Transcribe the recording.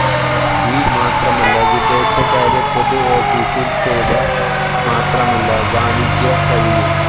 ഈ മാത്രമല്ല വിദേശകാര്യ പൊതു ഓഫീസിൽ ചെയ്ത മാത്രമല്ല വാണിജ്യ കഴിയും